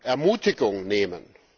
Ermutigung nehmen.